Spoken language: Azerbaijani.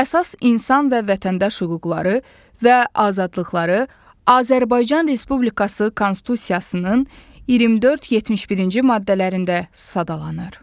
Əsas insan və vətəndaş hüquqları və azadlıqları Azərbaycan Respublikası Konstitusiyasının 24-71-ci maddələrində sadalanır.